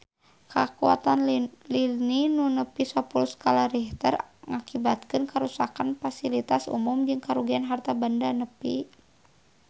Kakuatan lini nu nepi sapuluh skala Richter ngakibatkeun karuksakan pasilitas umum jeung karugian harta banda nepi ka 5 miliar rupiah